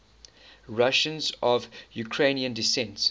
russians of ukrainian descent